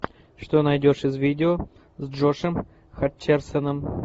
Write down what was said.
что найдешь из видео с джошом хатчерсоном